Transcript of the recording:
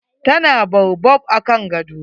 Ta na baobab akan gado.